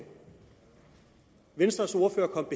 venstres ordfører kom